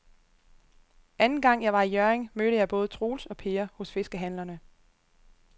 Anden gang jeg var i Hjørring, mødte jeg både Troels og Per hos fiskehandlerne.